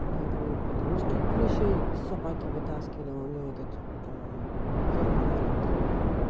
до этого у подружки клещей собаке вытаскивали у неё этот как йорк маленький